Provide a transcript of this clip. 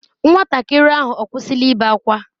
Nwatakịrị ahụ ọ kwụsịla ibe ákwá?